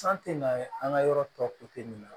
San tɛ na an ka yɔrɔ tɔ ko te nin na